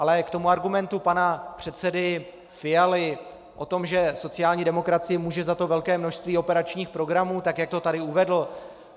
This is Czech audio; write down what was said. Ale k tomu argumentu pana předsedy Fialy o tom, že sociální demokracie může za to velké množství operačních programů, tak jak to tady uvedl.